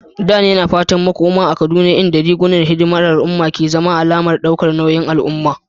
Dan yana fatan makoma a Kaduna inda rigunan hidimar al'umma ke zama alamar daukar nauyin al'umma.